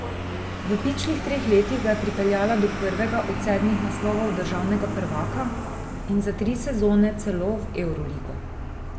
V pičlih treh letih ga je pripeljala do prvega od sedmih naslovov državnega prvaka in za tri sezone celo v evroligo.